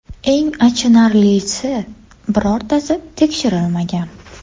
Eng achinarlisi, birortasi tekshirilmagan.